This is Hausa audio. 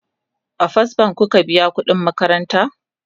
a first bank kuke biyan ƙuɗin makaranta?